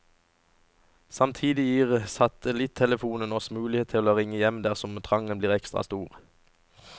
Samtidig gir satelittelefonen oss mulighet for å ringe hjem dersom trangen blir ekstra stor.